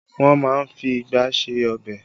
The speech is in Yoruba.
Wọn má ń fi igbá ṣe ọbẹ̀